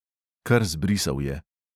Kar zbrisal je.